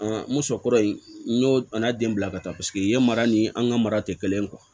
n ko muso kɔrɔ in n y'o a n'a den bila ka taa paseke yen mara ni an ka mara tɛ kelen